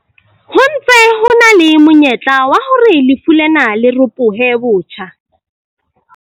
Ho ntse ho na le monyetla wa hore lefu lena le ropohe botjha.